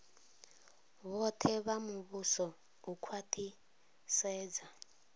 vhoṱhe vha muvhuso u khwaṱhisedza